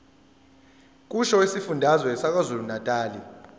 kusho isifundazwe sakwazulunatali